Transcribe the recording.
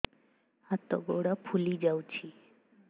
ହାତ ଗୋଡ଼ ଫୁଲି ଯାଉଛି